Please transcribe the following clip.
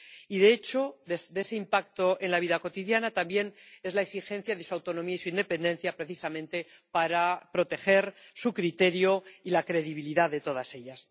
Y, de hecho, por ese impacto en la vida cotidiana cabe también exigir su autonomía y su independencia, precisamente para proteger su criterio y la credibilidad de todas ellas.